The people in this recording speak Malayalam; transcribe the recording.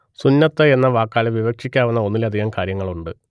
സുന്നത്ത് എന്ന വാക്കാൽ വിവക്ഷിക്കാവുന്ന ഒന്നിലധികം കാര്യങ്ങളുണ്ട്